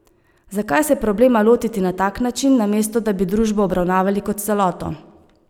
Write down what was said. Zakaj se problema lotiti na tak način, namesto da bi družbo obravnavali kot celoto?